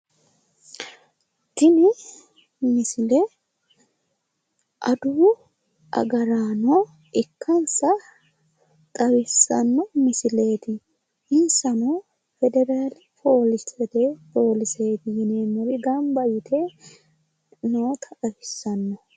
Tini misile adawu agarano ikkansa xawissanno misileeti, insano federaale poolise yineemmori gamab yite noota xawissanno